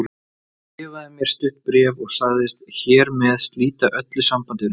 Hann skrifaði mér stutt bréf og sagðist hér með slíta öllu sambandi við mig.